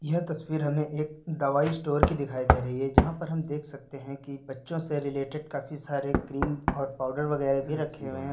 यह तस्वीर हमें एक दवाई स्टोर की दिखाई दे रही है जहां पर हम देख सकते हैं कि बच्चो से रिलेटेड काफी सारे क्रीम और पाउडर वगैरा भी रखे हुए हैं।